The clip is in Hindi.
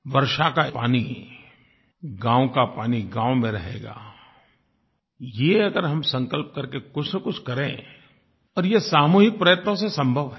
वर्षा का पानी गाँव का पानी गाँव में रहेगा ये अगर हम संकल्प करके कुछ न कुछ करें और ये सामूहिक प्रयत्नों से संभव है